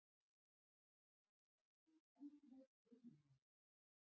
Hann er orðinn alveg ringlaður!